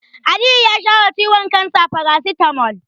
Aliyu ya sha wa ciwon kansa farasitamol.